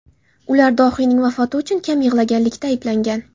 Ular dohiyning vafoti uchun kam yig‘laganlikda ayblangan.